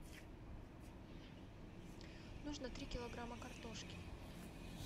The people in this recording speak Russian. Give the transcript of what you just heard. нужно три килограмма картошки